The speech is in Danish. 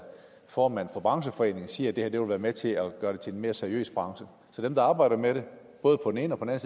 formand for brancheforeningen siger at det her vil være med til at gøre det til en mere seriøs branche så dem der arbejder med det både på den ene og på den